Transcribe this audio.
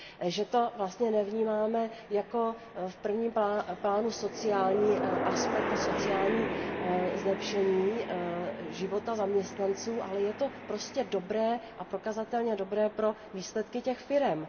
Že to vlastně nevnímáme v prvním plánu jako sociální aspekt a sociální zlepšení života zaměstnanců, ale je to prostě dobré a prokazatelně dobré pro výsledky těch firem.